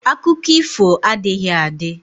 Akụkọ ifo adịghị adị